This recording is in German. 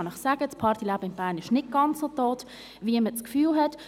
Das Partyleben im Bern ist nicht ganz so tot, wie man das Gefühl hat.